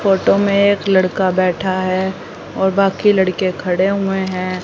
Photo में एक लड़का बैठा है और बाकी लड़के खड़े हुए हैं।